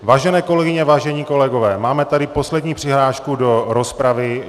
Vážené kolegyně, vážení kolegové, máme tady poslední přihlášku do rozpravy.